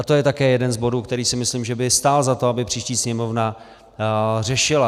A to je také jeden z bodů, který si myslím, že by stál za to, aby příští Sněmovna řešila.